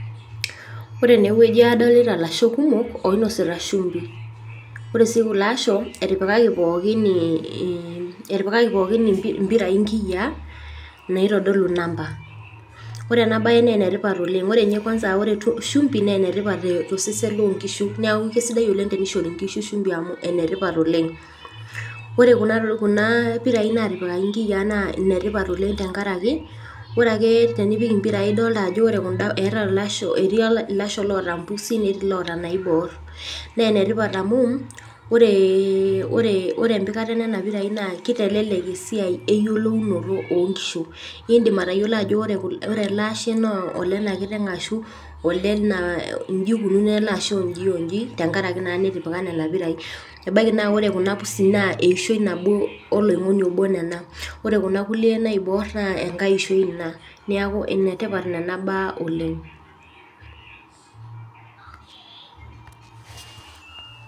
ore tenewueji adolita ilasho oinosita shimbi naa enetipat oleng tosesen lenkiteng adolita sii ajo keeta impirai toonkiyiaa naaenetipat ooleng amuu enkicho tayiolo tenimin amu meeta ninye olemeeta enambai enye adolita sii ajo kepaasha nena pirai oleng neeku ekincho ninye tayiolo ajo koliaa kiteng ele ashe tesiokinoto ekincho sii tayiolo eishoi tenkaraki nepaasha nena pirai